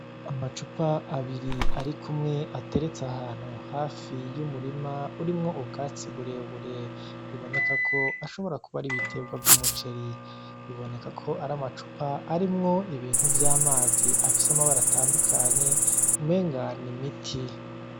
Amacupa abiri ari kumwe ateretse ahantu hafi y' umurima urimwo ubwatsi burebure biboneka ko ashobora kuba ari ibiterwa vy'umuceri biboneka ko ari amacupa arimwo ibintu vy'amazi afise amabara atandukanye umenga n’imiti.